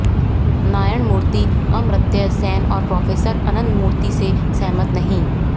नारायण मूर्ति अमर्त्य सेन और प्रोफेसर अनंतमूर्ति से सहमत नहीं